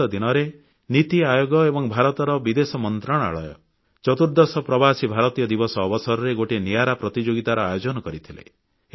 ବିଗତ ଦିନରେ ନୀତି ଆୟୋଗ ଏବଂ ଭାରତର ବିଦେଶ ମନ୍ତ୍ରଣାଳୟ ଚତୁର୍ଦ୍ଦଶ ପ୍ରବାସୀ ଭାରତୀୟ ଦିବସ ଅବସରରେ ଗୋଟିଏ ନିଆରା ପ୍ରତିଯୋଗିତାର ଆୟୋଜନ କରିଥିଲେ